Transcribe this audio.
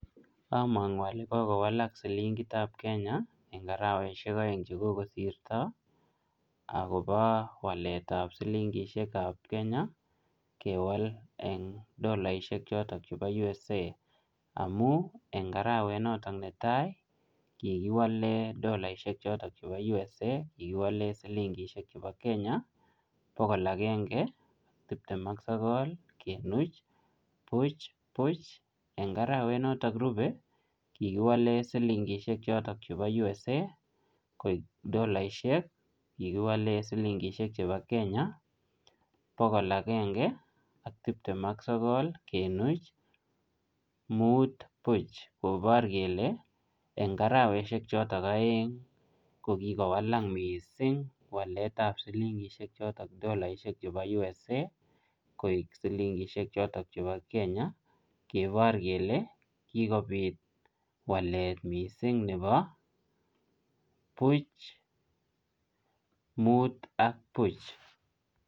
Amanguu ale kokowalak silingiit ab kenya eng arowasiek aeng che kokosirto akobo wallet ab silingisheek ab Kenya kewal eng dolaishek chotoon chebo [United States of America] amuun eng araweet noton ne tai ii kikiwaleen dolaishek chotoon chebo USA kikiwaleen silingisheek chebo Kenya bogol agenge tipteem ak sogol kemuuch buuch buch eng araweet noton nerupei kikowalen USA koek dolaishek kikiwaleen silingisheek chotoon chebo Kenya bogol agenge ak timptem ak sogol kemuuch muut buuch kobaar kele eng arawasheek chotoon aeng kikowalak missing waleet ab silingisheek chotoon dolaa chebo USA koek silingisheek chotoon chebo Kenya kebaar kele kele kikobiit waleet missing nebo buuch muut ak buuch.